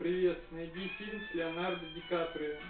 привет найди фильм с леонардо ди каприо